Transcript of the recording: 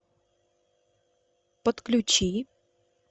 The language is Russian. подключи